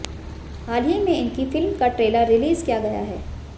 हाल ही में इनकी फिल्म का ट्रेलर रिलीज किया गया है